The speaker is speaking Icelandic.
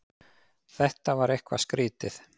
Þetta var eitthvað skrýtið.